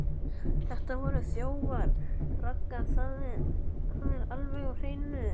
Þetta voru þjófar, Ragga, það er alveg á hreinu.